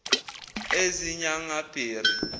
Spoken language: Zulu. ezinyangabheri